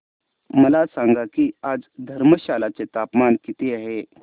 मला सांगा की आज धर्मशाला चे तापमान किती आहे